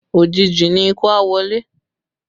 Òjìji ni ikú a wọlé